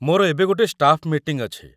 ମୋର ଏବେ ଗୋଟେ ଷ୍ଟାଫ୍‌ ମିଟିଂ ଅଛି ।